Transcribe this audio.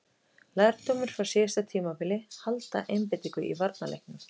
Lærdómur frá síðasta tímabili: Halda einbeitingu í varnarleiknum.